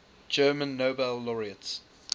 german nobel laureates